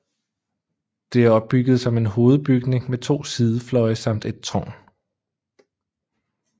Det er opbygget som en hovedbygning med to sidefløje samt et tårn